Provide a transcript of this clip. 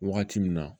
Wagati min na